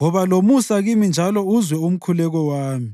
woba lomusa kimi njalo uzwe umkhuleko wami.